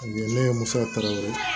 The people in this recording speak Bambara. Ne ye musoya